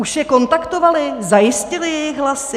Už je kontaktovali, zajistili jejich hlasy?